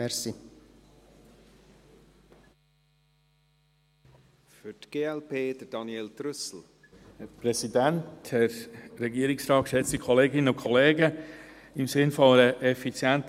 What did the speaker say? Im Sinne einer effizienten Abhandlung werde ich gerade zu den Traktanden 44 bis 48 sprechen.